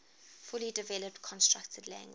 fully developed constructed language